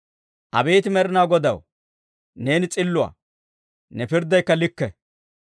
Abeet Med'inaa Godaw, neeni s'illuwaa; ne pirddaykka likke.